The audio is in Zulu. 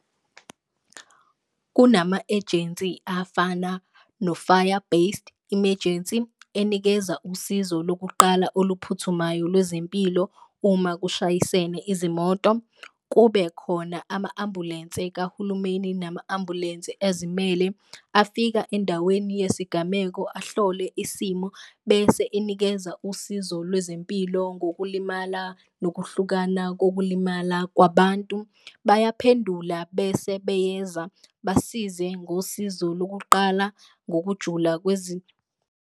Kunama-ejensi afana no-fire-based emergency enikeza usizo lokuqala oluphuthumayo lwezempilo uma kushayisene izimoto, kube khona ama-ambulense kahulumeni nama-ambulense azimele. Afika endaweni yesigameko ahlole isimo bese enikeza usizo lwezempilo ngokulimala nokuhlukana kokulimala kwabantu, bayaphendula bese beyeza basize ngosizo lokuqala ngokujula .